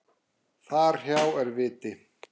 Þar hjá er viti.